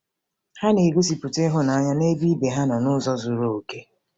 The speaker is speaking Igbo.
Ha na-egosipụta ịhụnanya n'ebe ibe ha nọ n'ụzọ zuru okè.